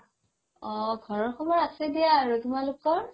অ ঘৰৰ খবৰ আছে দিয়া আৰু তুমালোকৰ